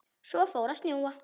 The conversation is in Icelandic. Svo fór að snjóa.